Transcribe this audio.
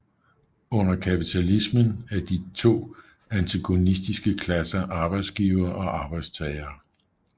Under kapitalismen er de to antagonistiske klasser arbejdsgivere og arbejdstagere